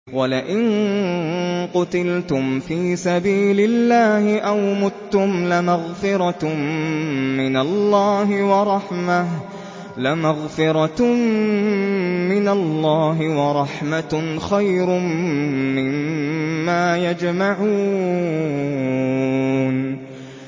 وَلَئِن قُتِلْتُمْ فِي سَبِيلِ اللَّهِ أَوْ مُتُّمْ لَمَغْفِرَةٌ مِّنَ اللَّهِ وَرَحْمَةٌ خَيْرٌ مِّمَّا يَجْمَعُونَ